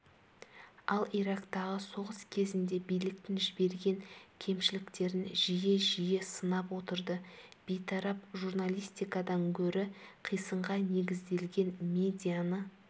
ал ирактағы соғыс кезінде биліктің жіберген кемшіліктерін жиі-жиі сынап отырды бейтарап журналистикадан гөрі қисынға негізделген медианы